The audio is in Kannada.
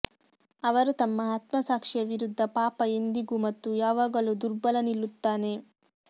ಅವರು ತಮ್ಮ ಆತ್ಮಸಾಕ್ಷಿಯ ವಿರುದ್ಧ ಪಾಪ ಎಂದಿಗೂ ಮತ್ತು ಯಾವಾಗಲೂ ದುರ್ಬಲ ನಿಲ್ಲುತ್ತಾನೆ